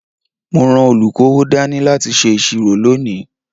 Mo ran olukowo dání láti ṣe ìṣirò lónìí.